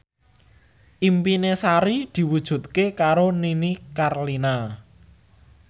impine Sari diwujudke karo Nini Carlina